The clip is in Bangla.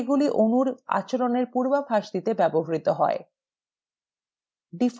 সেগুলি অণুর আচরণএর পূর্বাভাস করতেও ব্যবহৃত হয়